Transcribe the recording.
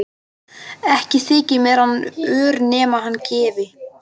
Ekki þyki mér hann ör nema hann gefi.